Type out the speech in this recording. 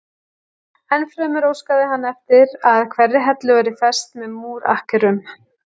Ennfremur óskaði hann eftir að hverri hellu væri fest með múr akkerum.